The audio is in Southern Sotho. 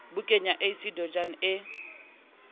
bukeng ya ac jordan e